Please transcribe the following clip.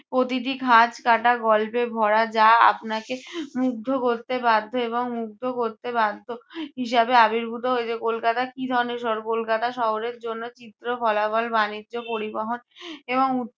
প্রতিটি খাঁজকাটা গল্পে ভরা যা আপনাকে মুগ্ধ করতে বাধ্য এবং মুগ্ধ করতে বাধ্য হিসাবে আবির্ভুত হয়েছে। কলকাতা কী ধরনের শহর? কলকাতা শহরের জন্য চিত্র, বাণিজ্য, পরিবহন এবং